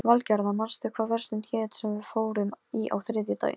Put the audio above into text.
Loksins sofnaði Lilla úrvinda af þreytu.